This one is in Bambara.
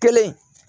Kelen